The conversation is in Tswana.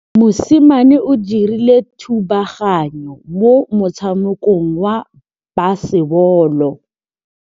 Mosimane o dirile thubaganyô mo motshamekong wa basebôlô.